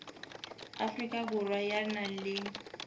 afrika borwa ya nang le